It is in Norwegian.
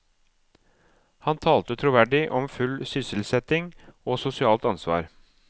Han talte troverdig om full sysselsetting og sosialt ansvar.